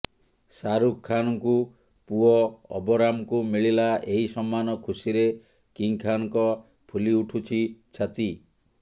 ଶାହରୁଖ ଖାନଙ୍କୁ ପୁଅ ଅବରାମଙ୍କୁ ମିଳିଲା ଏହି ସମ୍ମାନ ଖୁସିରେ କିଙ୍ଗଖାନଙ୍କ ଫୁଲି ଉଠୁଛି ଛାତି